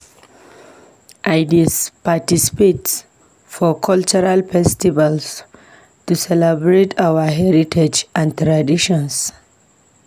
I dey participate for cultural festivals to celebrate our heritage and traditions.